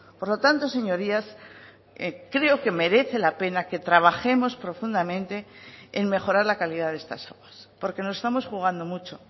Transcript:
por lo tanto señorías creo que merece la pena que trabajemos profundamente en mejorar la calidad de estas aguas porque nos estamos jugando mucho